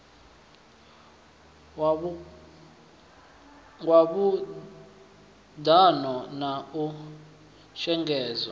ya khuḓano na u shengedzwa